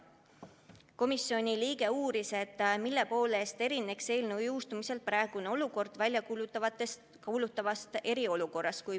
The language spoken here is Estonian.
Üks komisjoni liige uuris, et mille poolest erineks eelnõu jõustumisel kujunev olukord väljakuulutatavast eriolukorrast.